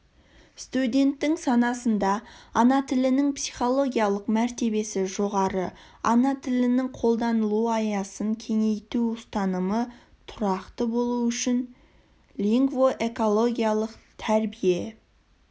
студенттің санасында ана тілінің психологиялық мәртебесі жоғары ана тілінің қолданылу аясын кеңейту ұстанымы тұрақты болу үшін лингвоэкологиялық тәрбие